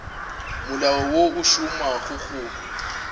molao wo o šomago go